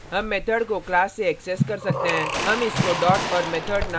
हम इसको dot और method name को जोडकर करते हैं